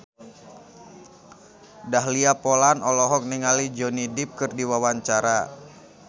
Dahlia Poland olohok ningali Johnny Depp keur diwawancara